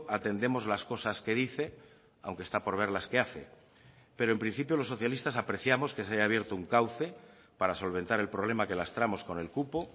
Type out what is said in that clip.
atendemos las cosas que dice aunque está por ver las que hace pero en principio los socialistas apreciamos que se haya abierto un cauce para solventar el problema que lastramos con el cupo